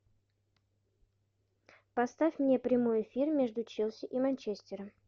поставь мне прямой эфир между челси и манчестером